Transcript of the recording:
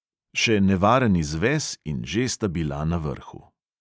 Še nevaren izves in že sta bila na vrhu.